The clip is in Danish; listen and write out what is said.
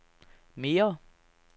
mere